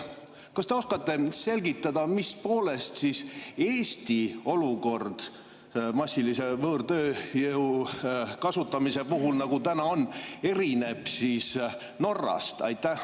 Kas te oskate selgitada, mis poolest Eesti olukord massilise võõrtööjõu kasutamise puhul, nagu see täna on, erineb Norra omast?